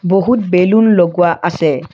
বহুত বেলুন লগোৱা আছে।